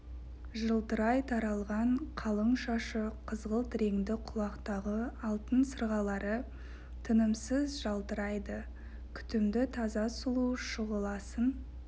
жылтырай таралған қалың шашы қызғылт реңді құлақтағы алтын сырғалары тынымсыз жалтырайды күтімді таза сұлу шұғыласын